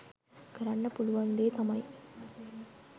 කරන්න පුළුවන් දේ තමයි.